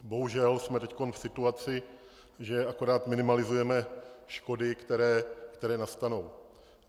Bohužel jsme teď v situaci, že akorát minimalizujeme škody, které nastanou.